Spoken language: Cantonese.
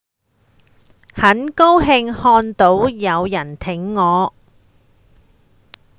很高興看到有人挺我